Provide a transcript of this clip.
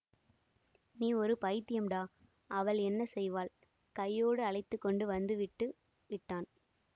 நீ ஒரு பைத்தியம்டா அவள் என்ன செய்வாள் கையோடு அழைத்து கொண்டு வந்து விட்டு விட்டான்